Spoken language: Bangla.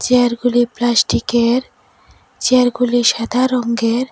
চেয়ারগুলি প্লাস্টিকের চেয়ারগুলির সাদা রঙ্গের।